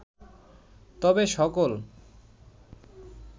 তবে সকল